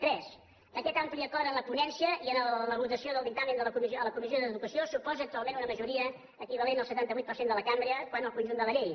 tres aquest ampli acord en la ponència i en la votació del dictamen a la comissió d’educació suposa actualment una majoria equivalent al setanta vuit per cent de la cambra quant al conjunt de la llei